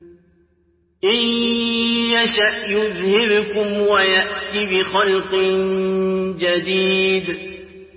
إِن يَشَأْ يُذْهِبْكُمْ وَيَأْتِ بِخَلْقٍ جَدِيدٍ